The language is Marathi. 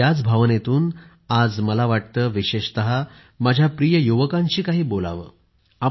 याच भावनेतून आज मला वाटते विशेषतः माझ्या प्रिय युवकांशी काही बोलावेसे वाटते